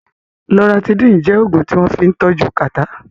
Loratidín jẹ́ Ògùn tí wọ́n fín tọ́jú kàtá